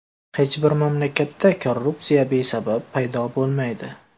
Hech bir mamlakatda korrupsiya besabab paydo bo‘lmaydi.